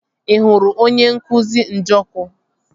Ị hụrụ onye nkụzi Njọkụ?